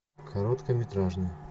короткометражный